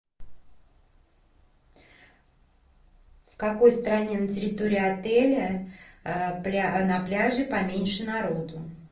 в какой стороне на территории отеля на пляже поменьше народу